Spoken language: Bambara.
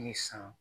Ni san